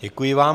Děkuji vám.